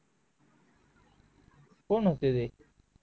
कोण होते ते